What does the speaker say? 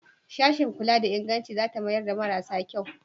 Sashin kula da inganci za ta mayar da marasa kyau?